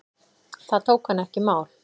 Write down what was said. Það tók hann ekki í mál.